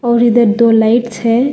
और इधर दो लाइट्स है।